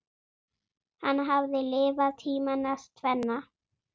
Hann hafði lifað tímana tvenna.